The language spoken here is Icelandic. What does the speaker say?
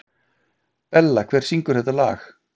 Bella, hver syngur þetta lag?